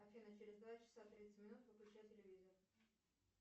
афина через два часа тридцать минут выключай телевизор